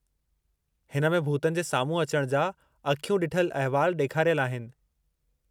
हिन में भूतनि जे साम्हूं अचण जा अखियूं ॾिठल अहिवाल ॾेखारियलु आहिनि।